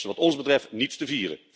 Er valt wat ons betreft niets te